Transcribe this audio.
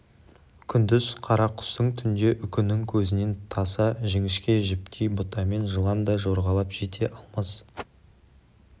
күндіз қарақұстың түнде үкінің көзінен таса жіңішке жіптей бұтамен жылан да жорғалап жете алмас